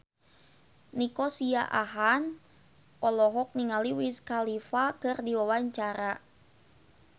Nico Siahaan olohok ningali Wiz Khalifa keur diwawancara